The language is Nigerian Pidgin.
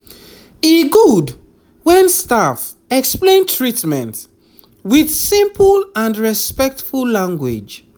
e good when staff explain treatment with simple and respectful language